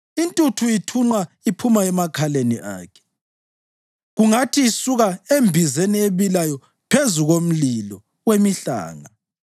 Intuthu ithunqa iphuma emakhaleni akhe kungathi isuka embizeni ebilayo phezu komlilo wemihlanga.